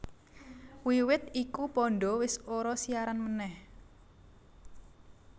Wiwit iku Panda wis ora siaran meneh